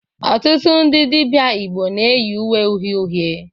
Ọtụtụ ndị dibịa Igbo na eyi uwe uhie uhiè.